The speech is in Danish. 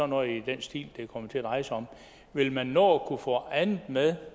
noget i den stil det kommer til at dreje sig om vil man nå at kunne få andet med